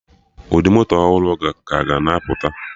Ụdị moto ọhụrụ ka ga na apụta